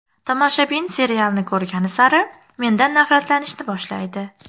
Tomoshabin serialni ko‘rgani sari mendan nafratlanishni boshlaydi.